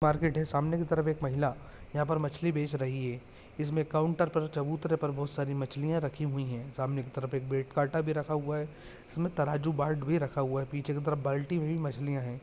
Market है सामने की तरफ एक महिला यहाँ पर मछ्ली बेच रही है इसमे काउंटर पर चबूतरे पर बहुत सारी मछलिया रखी हुई है सामने की तरफ एक वेट काटा भी रखा हुआ है इसमे तराजू बाट भी रखा हुआ है पीछे की तरफ बाल्टी भी मछ्लीया है।